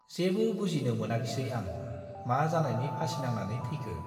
जेबो बुजिनो मोनाखिसै आं-मा जानायनि फासि नांनानै थैखो !